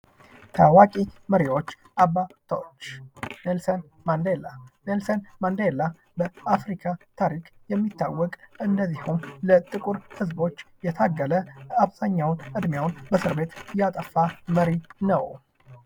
ታዋቂ መሪዎች አባቶች ኔልሰን ማንደላ ኔልሰን ማንደላ በአፍሪካ ታሪክ የሚታወቀ እንደዚሁም ለጥቁር ህዝቦች የታገለ አብዛኛውን እድሜውን በእስር ቤት ያጠፋ መሪ ነው።